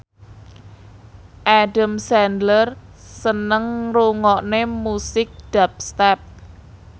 Adam Sandler seneng ngrungokne musik dubstep